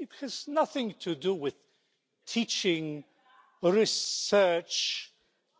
It has nothing to do with teaching, research,